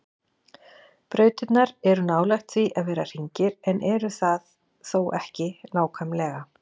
brautirnar eru nálægt því að vera hringir en eru það þó ekki nákvæmlega